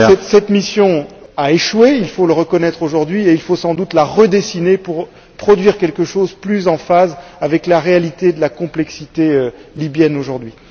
Cette mission a échoué, il faut le reconnaître aujourd'hui, et il faut sans doute la redessiner pour produire quelque chose qui soit plus en phase avec la réalité de la complexité libyenne aujourd'hui.